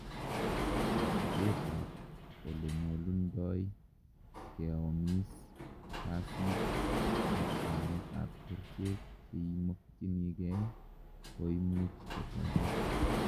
kosibet ab olenyolundoi keomis, kasit, ak amet ab kerichek cheimokyinigei koimuch kotoret